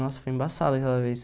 Nossa, foi embaçado aquela vez.